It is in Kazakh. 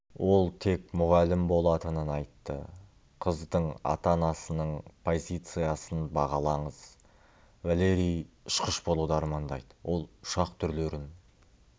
ол тек мұғалім болатынын айтты қыздың ата-анасының позициясын бағалаңыз валерий ұшқыш болуды армандайды ол ұшақ түрлерін